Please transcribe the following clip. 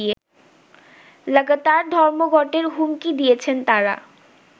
লাগাতার ধর্মঘটের হুমকি দিয়েছেন তারা